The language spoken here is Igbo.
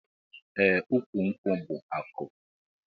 Eeh ukwu nkwu bu aku.